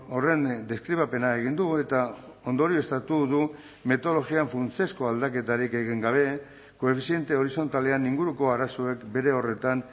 horren deskribapena egin du eta ondorioztatu du metodologian funtsezko aldaketarik egin gabe koefiziente horizontalean inguruko arazoek bere horretan